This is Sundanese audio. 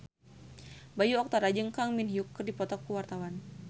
Bayu Octara jeung Kang Min Hyuk keur dipoto ku wartawan